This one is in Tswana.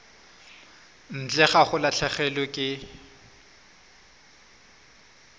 ntle ga go latlhegelwa ke